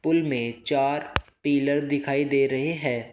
Pool में चार pillar दिखाई दे रहे हैं।